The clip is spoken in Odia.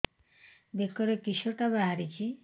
ବେକରେ କିଶଟା ବାହାରିଛି